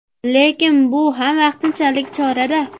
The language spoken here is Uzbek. Lekin bu ham vaqtinchalik chora-da.